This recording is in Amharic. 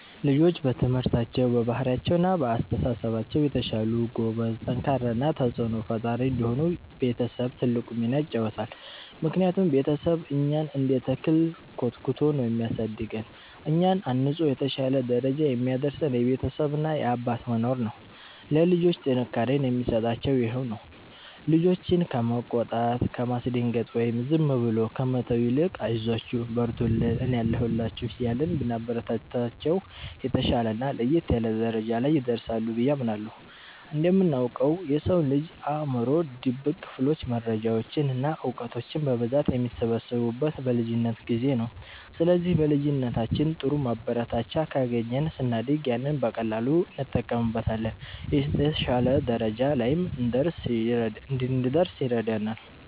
ልጆች በትምህርታቸው፣ በባህሪያቸው እና በአስተሳሰባቸው የተሻሉ፣ ጎበዝ፣ ጠንካራ እና ተጽዕኖ ፈጣሪ እንዲሆኑ ቤተሰብ ትልቁን ሚና ይጫወታል። ምክንያቱም ቤተሰብ እኛን እንደ ተክል ኮትኩቶ ነው የሚያሳድገን፤ እኛን አንጾ የተሻለ ደረጃ የሚያደርሰን የቤተሰብ እና የአባት መኖር ነው። ለልጆች ጥንካሬን የሚሰጣቸውም ይሄው ነው። ልጆችን ከመቆጣት፣ ከማስደንገጥ ወይም ዝም ብሎ ከመተው ይልቅ 'አይዟችሁ፣ በርቱልኝ፣ እኔ አለሁላችሁ' እያልን ብናበረታታቸው፣ የተሻለና ለየት ያለ ደረጃ ላይ ይደርሳሉ ብዬ አምናለሁ። እንደምናውቀው፣ የሰው ልጅ አእምሮ ድብቅ ክፍሎች መረጃዎችን እና እውቀቶችን በብዛት የሚሰበስቡት በልጅነት ጊዜ ነው። ስለዚህ በልጅነታችን ጥሩ ማበረታቻ ካገኘን፣ ስናድግ ያንን በቀላሉ እንጠቀምበታለን፤ የተሻለ ደረጃ ላይም እንድንደርስ ይረዳናል።